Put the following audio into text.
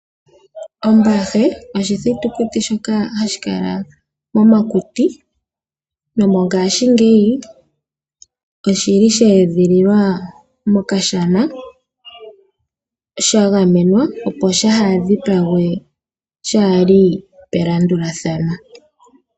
Ombahe oshithutikuti shoka hashi kala momakuti ngaashingeyi oshili sheedhililwa mokashana shagamena opo shaadhipagwe shaali pelandulathano.